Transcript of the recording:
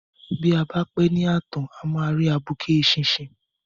Bí a bá pẹ́ ní ààtàn a máa rí abuké eṣinṣin.